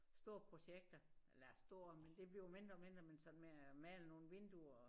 Store projekter eller store men det bliver mindre og mindre men sådan med at male nogle vinduer